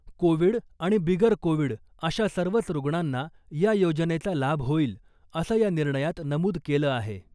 Covid आणि बिगर Covid अशा सर्वच रुग्णांना या योजनेचा लाभ होईल , असं या निर्णयात नमूद केलं आहे .